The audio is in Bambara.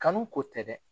Kanu ko tɛ dɛ